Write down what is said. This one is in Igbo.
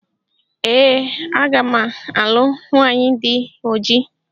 Ee aga m alụ nwanyị dị oji